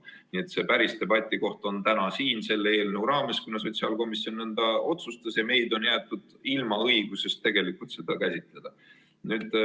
Nii et päris debati koht on täna siin selle eelnõu raames, kuna sotsiaalkomisjon nõnda otsustas, aga meid on jäetud ilma õigusest seda käsitleda.